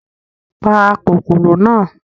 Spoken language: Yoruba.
Pa kòkòrò náà!